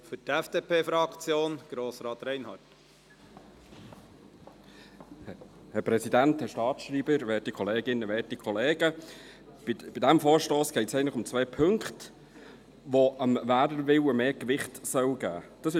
Bei diesem Vorstoss geht es eigentlich um zwei Punkte, die dem Wählerwillen mehr Gewicht geben sollen.